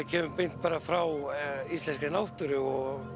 kemur beint frá íslenskri náttúru og